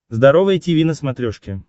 здоровое тиви на смотрешке